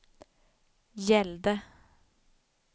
gällde